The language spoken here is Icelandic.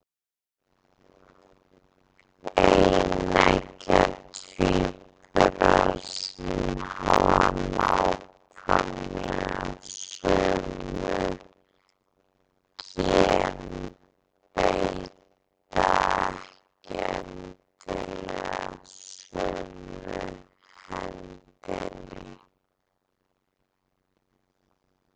Eineggja tvíburar sem hafa nákvæmlega sömu gen beita ekki endilega sömu hendinni.